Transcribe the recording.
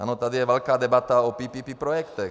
Ano, tady je velká debata o PPP projektech.